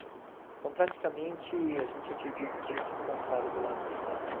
Então, praticamente, a gente acredita que eles se encontraram do lado de lá, né?